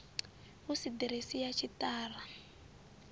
hu si ḓiresi ya tshiṱara